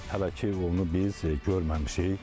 Hələ ki onu biz görməmişik.